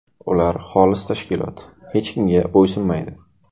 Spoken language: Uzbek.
Ular xolis tashkilot, hech kimga bo‘ysunmaydi.